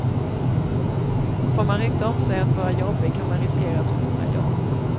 Får man rykte om sig att vara jobbig kan man riskera att förlora jobb.